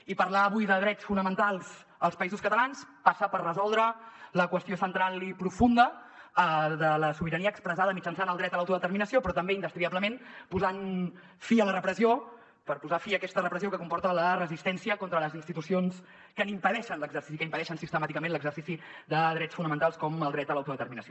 i parlar avui de drets fonamentals als països catalans passa per resoldre la qüestió central i profunda de la sobirania expressada mitjançant el dret a l’autodeterminació però també indestriablement posant fi a la repressió per posar fi a aquesta repressió que comporta la resistència contra les institucions que impedeixen sistemàticament l’exercici de drets fonamentals com el dret a l’autodeterminació